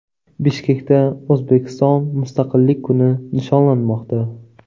Bishkekda O‘zbekiston Mustaqillik kuni nishonlanmoqda.